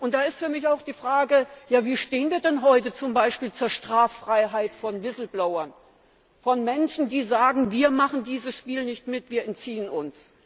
Da ist für mich auch die Frage, wie wir denn heute zum Beispiel zur Straffreiheit von whistleblowers stehen, von Menschen, die sagen, wir machen dieses Spiel nicht mit, wir entziehen uns.